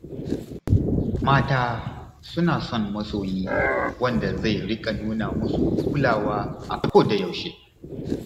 Mata suna son masoyi wanda zai riƙa nuna musu kulawa a kodayaushe.